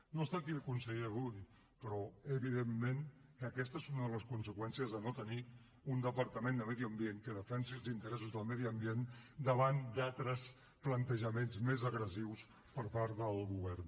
no està aquí el conseller rull però evidentment que aquesta és una de les conseqüències de no tenir un departament de medi ambient que defensi els interessos del medi ambient davant d’altres plantejaments més agressius per part del govern